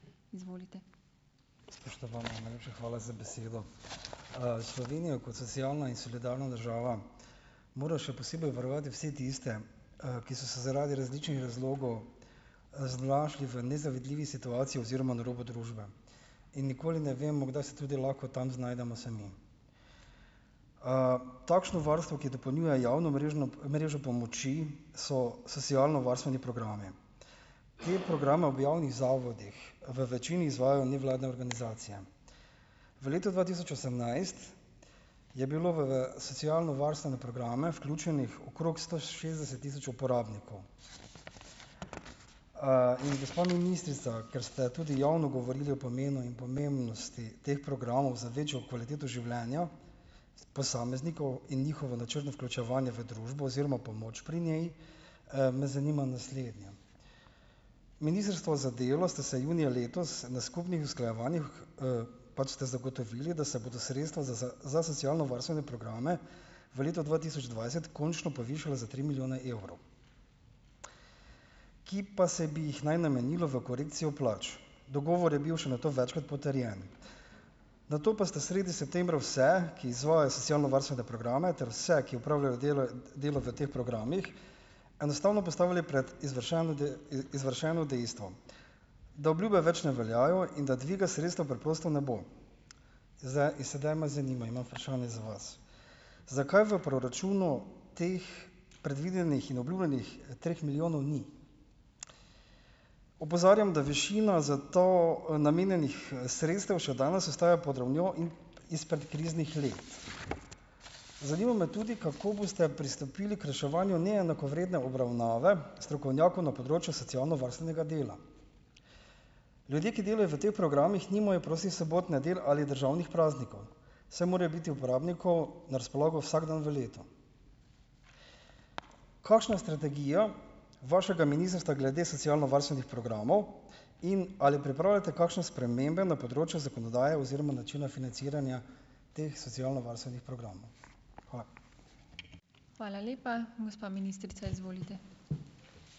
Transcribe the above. Izvolite. Spoštovana, najlepša hvala za besedo. Slovenija kot socialna in solidarna država mora še posebej varovati vse tiste, ki so se zaradi različnih razlogov, znašli v nezavidljivi situaciji oziroma na robu družbe. In nikoli ne vemo, kdaj se tudi lahko tam znajdemo sami. takšno varstvo, ki dopolnjuje javno mrežo pomoči so socialnovarstveni programi. Ti programa v javnih zavodih, v večini izvajajo nevladne organizacije . V letu dva tisoč osemnajst je bilo v, socialnovarstvene programe vključenih okrog sto šestdeset tisoč uporabnikov. in gospa ministrica, ker ste tudi javno govorili o pomenu in pomembnosti teh programov za večjo kvaliteto življenja posameznikov in njihovo načrtno vključevanje v družbo oziroma pomoč pri njej, me zanima naslednje: Ministrstvo za delo ste se junija letos na skupnih usklajevanjih, pač ste zagotovili, da se bodo sredstva za za socialnovarstvene programe v letu dva tisoč dvajset končno povišala za tri milijone evrov, ki pa se bi jih naj namenilo v korekcijo plač. Dogovor je bil še nato večkrat potrjen. Nato pa ste sredi septembra vse, ki izvajajo socialnovarstvene programe ter vse, ki opravljajo delo, delo v teh programih enostavno postavili pred izvršeno izvršeno dejstvo. Da obljube več ne veljajo in da dviga sredstev preprosto ne bo. in sedaj me zanima, imam vprašanje za vas. Zakaj v proračunu teh predvidenih in obljubljenih treh milijonov ni? Opozarjam, da višina za to, namenjenih, sredstev še danes ostaja pod ravnjo izpred kriznih let . Zanima me tudi, kako boste pristopili k reševanju neenakovredne obravnave strokovnjakov na področju socialnovarstvenega dela? Ljudje, ki delajo v te programih, nimajo prostih sobot, nedelj ali državnih praznikov, saj morajo biti uporabniku na razpolago vsak dan v letu. Kakšna strategija vašega ministrstva glede socialnovarstvenih programov in ali pripravljate kakšne spremembe na področju zakonodaje oziroma načina financiranja teh socialnovarstvenih programov? Hvala. Hvala lepa. Gospa ministrica, izvolite.